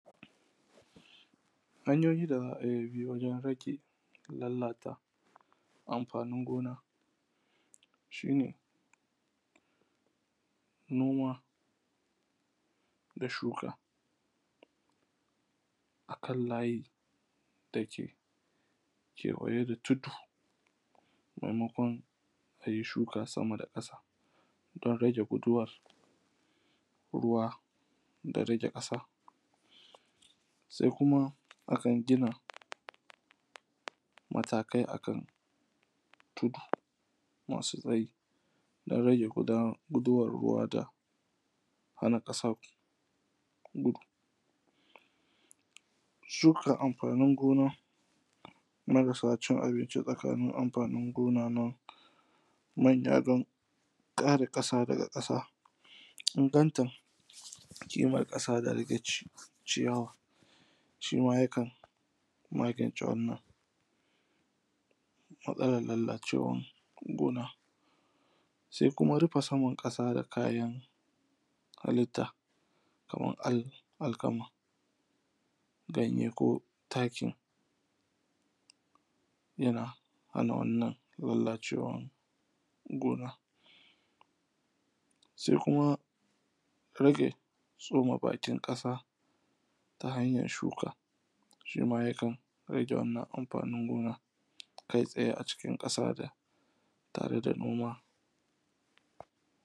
Hanyoyin da za a bi wajen haƙe lallata amfanin gona, shi ne noma da shuka akan layi da ke kewaye da tudu maimakwan a yi shuka sama da ƙasa don rage guduwan ruwa da rege kasa, sai kuma akan gina matakai akan tudu masu tsayi don rage guduwar ruwa da hana kasa gudu, shuka amfanin gona marasa cin abinci tsakanin amfanin gonana, manya kara kasa daga kasa, inganta kimar kasa daga ciyawa shi ma yakan magance wannan, matsalar lallacewar gona sai kuma rufe saman kasa da kayan hallita kamar alkama ganye ko takin yana hana wannan lallacewan gona sai kuma rage tsuma bakin kasa ta hanyar shuka shima yakan rage wannan amfanin gona kai tsaye a ciki kasa tare da noma.